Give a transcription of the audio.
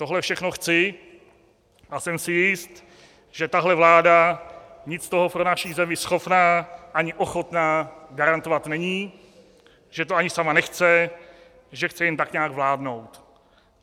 Tohle všechno chci a jsem si jist, že tahle vláda nic z toho pro naši zemi schopna ani ochotna garantovat není, že to ani sama nechce, že chce jen tak nějak vládnout.